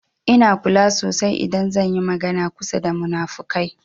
Ina kula sasai idan zan yi magana kusa da munafukai.